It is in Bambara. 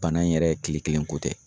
Bana in yɛrɛ kile kelenko tɛ